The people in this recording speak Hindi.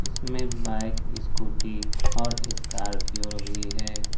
इसमें बाइक स्कूटी और स्कॉर्पियो भी है।